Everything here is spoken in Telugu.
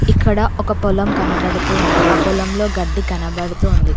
ఇక్కడ ఒక పొలం కనబడుతూ ఉంది ఆ పొలంలో గడ్డి కనబడుతూ ఉంది.